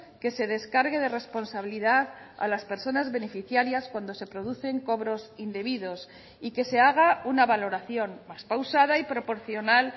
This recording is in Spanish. que se descargue de responsabilidad a las personas beneficiarias cuando se producen cobros indebidos y que se haga una valoración más pausada y proporcional